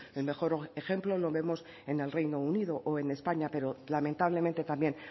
el mejor ejemplo lo vemos en el reino unido o en españa pero lamentablemente también